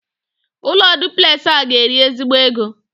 Ụlọ duplexị a ga-eri ezigbo ego